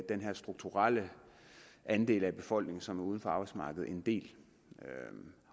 den her strukturelle andel af befolkningen som er uden for arbejdsmarkedet en del